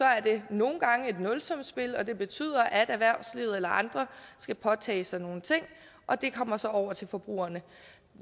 er det nogle gange et nulsumsspil og det betyder at erhvervslivet eller andre skal påtage sig nogle ting og det kommer så over til forbrugerne